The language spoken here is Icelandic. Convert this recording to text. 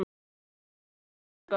Góða ferð elsku amma.